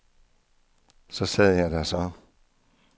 Så der sad jeg så.